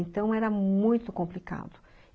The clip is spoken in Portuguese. Então, era muito complicado.